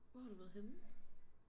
Hvor har du været henne?